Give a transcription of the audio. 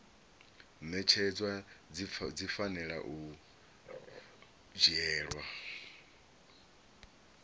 ṅetshedzwa dzi fanela u dzhielwa